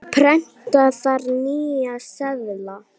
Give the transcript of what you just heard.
Prenta þarf nýja seðla.